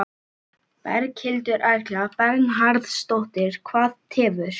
Berghildur Erla Bernharðsdóttir: Hvað tefur?